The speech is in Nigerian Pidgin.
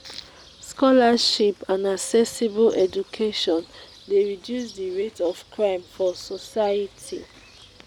scholarship and accessible education de reduce the rate of crime for society